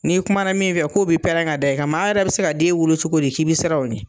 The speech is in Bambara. N'i kuma na min fɛ k'o bi pɛrɛn ka da i kan. Maa yɛrɛ bɛ se ka den wolo cogo di k'i bɛ siran o ɲɛ.